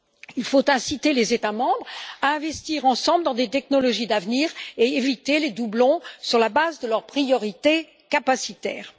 Il faut inciter les États membres à investir ensemble dans des technologies d'avenir et éviter les doublons, sur la base de leurs priorités capacitaires.